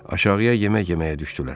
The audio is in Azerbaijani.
Aşağıya yemək yeməyə düşdülər.